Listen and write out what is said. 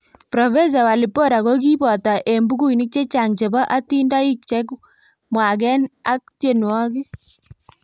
prof walibora kogipoto eng bukuinik chechang chepo atindonik chemwagen ak tienwogik